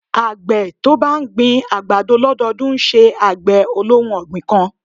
Àgbẹ̀ tí ó bá ń gbin àgbàdo lọ́dọdún ńṣe àgbẹ̀ olóhun ọ̀gbìn kan.